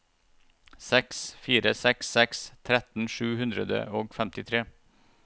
seks fire seks seks tretten sju hundre og femtitre